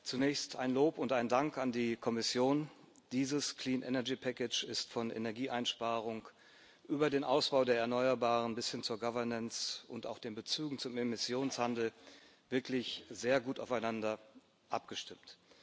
Zunächst ein Lob und ein Dank an die Kommission Dieses ist von Energieeinsparung über den Ausbau der Erneuerbaren bis hin zur Governance und auch den Bezügen zum Emissionshandel wirklich sehr gut aufeinander abgestimmt.